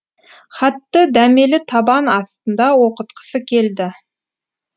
хатты дәмелі табан астында оқытқысы келді